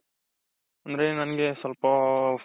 ಅಂದ್ರೆ ನಂಗೆ ಸ್ವಲ್ಪ,